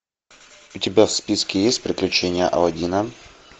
у тебя в списке есть приключения алладина